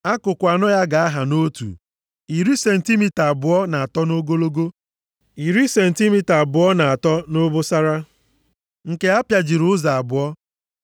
Akụkụ anọ ya ga-aha nʼotu, iri sentimita abụọ na atọ nʼogologo, iri sentimita abụọ na atọ nʼobosara, nke apịajiri ụzọ abụọ.